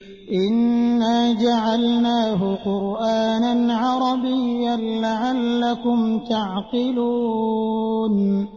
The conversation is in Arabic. إِنَّا جَعَلْنَاهُ قُرْآنًا عَرَبِيًّا لَّعَلَّكُمْ تَعْقِلُونَ